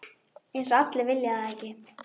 Eins og allir vilji það ekki?